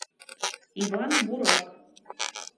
иван бурак